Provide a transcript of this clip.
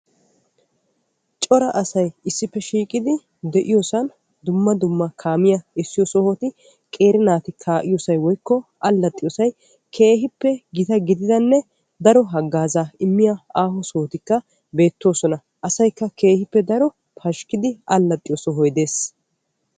cora asay issippe shiiqidi de'iyoosan dumma dumma kaamiya essiyo sohoti nqeeri naati ka'iyoosay woykko alaxxiyoosa keehippe gita gididdanne daro haggaazza immiya aaho sohoptikka beettoosona. asaykka keehippe daro pashkkidi allaaxxiyo sohoy de'ees.